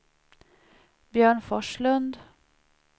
Björn Forslund